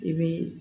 I bi